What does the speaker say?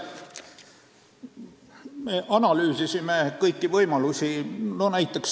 Me analüüsisime kõiki võimalusi.